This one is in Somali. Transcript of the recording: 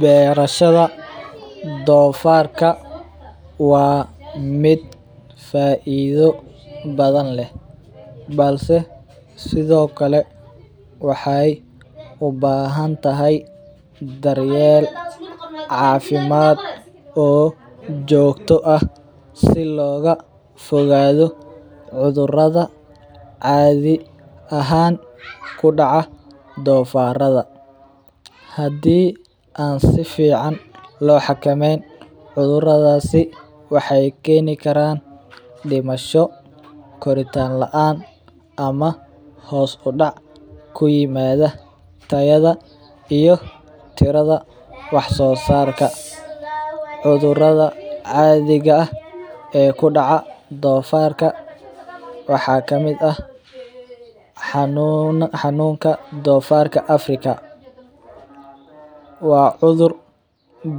Beerashada doofarka waa mid faaida badan leh, balse sido kale waxeey ubahan tahay daryeel cafimaad oo joogto ah si looga fogaado cudurada caadi ahaan kudaca doofarka, hadii aan sifican loo xakameyn cuduradaasi waxeey keeni karaan dimasho, koritaan laan ama hoos udac kuyimaada tayada ama tirada wax soo saarka, cudurada caadiga ah ee kudaca doofarka waxaa kamid ah, xanuunka doofarka Africa, waa cudur